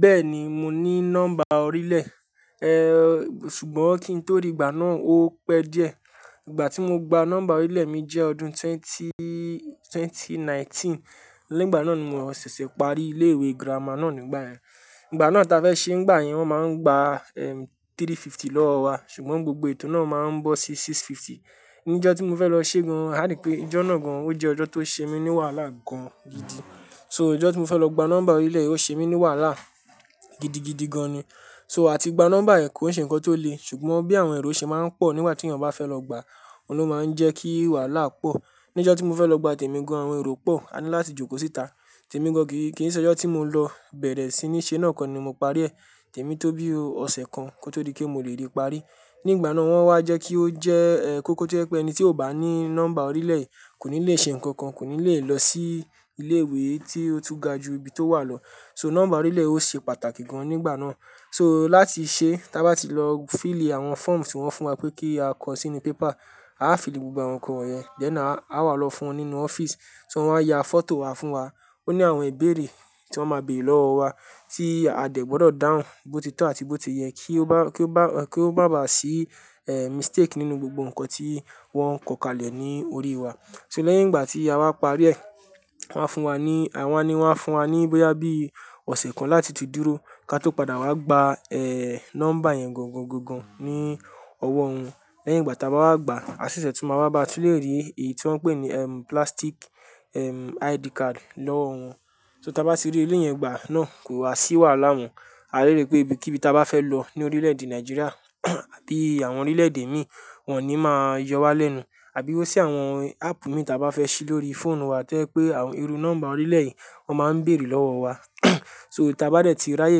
Bẹ́ẹ̀ni, mo ní nọ́mbà orílẹ̀, ṣùgbọ́n kí n tó rí ìgbà náà ó pẹ́ díẹ̀. Ìgbà tí mo gba nọ́mbà orílẹ̀ mi jẹ́ ọdún twenty- twenty nineteen. Nìgbà náà ni mo ṣẹ̀ṣẹ̀ parí ilé ìwé girama náà nígbà yẹn. Ìgbà náà táa fẹ́ ṣe nígbà yẹn wọ́n máa ń gba, ẹm, three fifty lọ́wọ́ wa ṣùgbọ́n gbogbo ètò náà máa ń bọ́ sí six fifty. Nijẹ́ tí mo fẹ́ lọ ṣe gan, a dì pé ijọ́ náà gan, ó jẹ́ ọjọ́ tó ṣe mí ní wàhálà gan gidi. So ijọ́ tí mo fẹ́ lọ gba nọ́mbà orílẹ̀ ò ṣe mí ní wàhálà gidi, gidi gan ni. So a ti gba nọ́mbà ẹ́ kò lè ṣe nǹkan tó le ṣùgbọ́n bí àwọn èrò ṣe máa ń pọ̀ níwàá tí ẹ̀yàn bà fẹ́ lọ gba, òun ló máa ń jẹ́ kí wàhálà pọ̀. Nijẹ́ tí mo fẹ́ lọ gba tèmi gan àwọn èrò pọ̀, a ní láti jókòó síta. Tèmi gan kì í, kì í ṣe ọjọ́ tí mò ń lọ bẹ̀rẹ̀ sí ní ṣe náà kọ́ ni mo parí ẹ̀. Tèmi tó bí ó ọ̀sẹ̀ kan kó tó di pé mo lè rí parí. Ní ìgbà náà wọ́n wá jẹ́ kí ó jẹ́, kó kó jẹ́ pé ẹni tí ò bá ní nọ́mbà orílẹ̀ kò ní lè ṣe nǹkan kan, kò ní lè lọ sí ilé ìwé tí ó tú ga jù ibi tó wà lọ. So nọ́mbà orílẹ̀ ó ṣe pàtàkì gan nígbà náà. So láti ṣe táa bá ti lọ fíìlì àwọn fọ́ọ̀mù tí wọ́n fún wa pé kí á kọ sínú pépà, a á fíìlì gbogbo àwọn nǹkan wọ̀nyẹn lẹ́náà a á wà lọ fún wọn nínú ọ́fíìsì. So wọ́n á ya fọ́tò wa fún wa. Ó ní àwọn ìbéèrè tí wọ́n máa béèrè lọ́wọ́ wa tí a dẹ̀ gbọdọ̀ dáhùn bó ti tọ́ àti bó ti yẹ kí ó bá, kí ó bá, kí ó bá bà sí, ẹ́, mistake nínú gbogbo nǹkan tí wọ́n kọ kalẹ̀ ní orí wa. So lẹ́yìn ìgbà tí a wá parí ẹ̀, wọ́n á fún wa ní, wọn ni wọ́n á fún wa ní bóyá bí ọ̀sẹ̀ kan láti tú dúró kí a tó padà wá gba, ẹ́, nọ́mbà yẹn gọ̀ngọ̀ngọngọ̀n ní ọwọ́ wọn. Lẹ́yìn ìgbà táa bá wá gba, a ṣẹ̀ṣẹ̀ tún máa wá bá ti lè rí èyí tí wọ́n pè ni plastic ID card lọ́wọ́ wọn. So táa bá ti rí elé yẹn gbà náà kò wa sì wàhálà mọ́. A lè rí pé ibi kíbí táa bá fẹ́ lọ ní orílẹ̀ èdè Nigeria àbí àwọn orílẹ̀ èdè míì wọ́n ò ní máa yọ wá lẹ́nu. Àbí bó sì àwọn áàpù mí ì táa bá fẹ́ ṣí lórí fóònù wa tẹ́ pé àwọn irú nọ́mbà orílẹ̀ yìí wọ́n máa ń bèèrè lọ́wọ́ wa. So tí a bá dẹ́ tí ráyè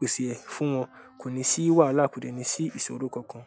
pèsè ẹ̀ fún wọn kò ní sì wàhálà, kò deni sí ìṣòro kan kan.